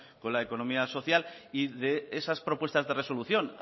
con la economía social y de esas propuestas de resolución